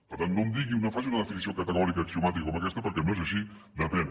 per tant no em digui no faci una definició categòrica axiomàtica com aquesta perquè no és així depèn